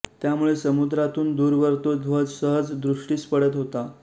त्यामुळे समुद्रातून दूरवर तो ध्वज सहज दृष्टीस पडत होता